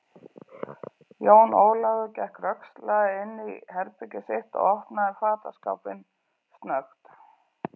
Jón Ólafur gekk rösklega inn í herbergið sitt og opnaði fataskápinn snöggt.